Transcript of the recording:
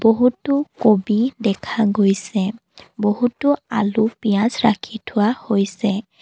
বহুতো কবি দেখা গৈছে বহুতো আলু পিয়াঁজ ৰাখি থোৱা হৈছে।